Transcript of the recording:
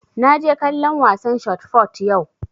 Na je kallon wasan shot fot yau